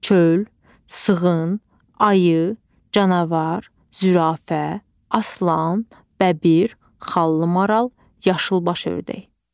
Çöl, sığın, ayı, canavar, zürafə, aslan, bəbir, xallı maral, yaşılbaş ördək.